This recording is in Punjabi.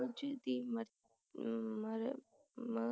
ਕੁਝ ਦੀ ਮਰ